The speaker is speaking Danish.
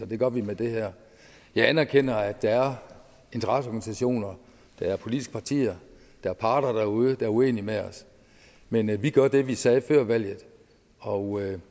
det gør vi med det her jeg anerkender at der er interesseorganisationer at der er politiske partier at der er parter derude er uenige med os men vi gør det vi sagde før valget og